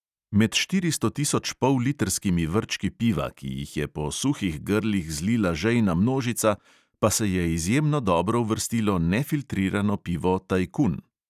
Med štiristo tisoč pollitrskimi vrčki piva, ki jih je po suhih grlih zlila žejna množica, pa se je izjemno dobro uvrstilo nefiltrirano pivo tajkun.